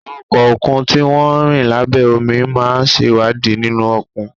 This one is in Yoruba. Àwọn ọkọ̀ òkun tí wọ́n ń rìn lábẹ́ omi á máa ṣèwádìí nínú òkun